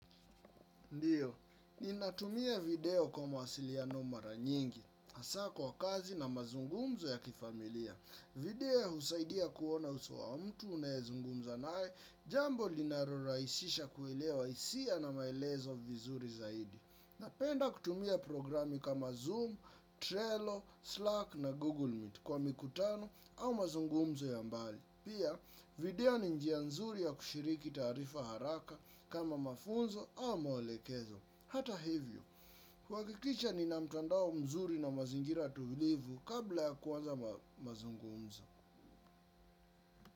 Ndiyo, ninatumia video kwa mawasiliano mara nyingi, haswa kwa kazi na mazungumzo ya kifamilia. Video usaidia kuona uso wa mtu unaezungumza naye, jambo linaraisisha kuelewa hisia na maelezo vizuri zaidi. Napenda kutumia programi kama Zoom, Trello, Slack na Google Meet kwa mikutano au mazungumzo ya mbali. Pia, video ni njia nzuri ya kushiriki taarifa haraka kama mafunzo au maelekezo. Hata hivyo, kuhakikisha ni na mtandao mzuri na mazingira tulivu kabla ya kuanza mazungumzo.